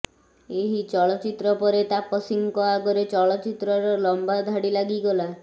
ଏହି ଚଳଚ୍ଚିତ୍ର ପରେ ତାପସୀଙ୍କ ଆଗରେ ଚଳଚ୍ଚିତ୍ରର ଲମ୍ବା ଧାଡ଼ି ଲାଗିଗଲା